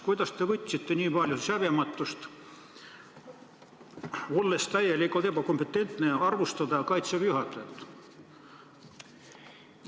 Kuidas te võite olla nii häbematu, et olles täielikult ebakompetentne, arvustate Kaitseväe juhatajat?